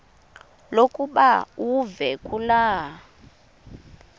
lokuba uve kulaa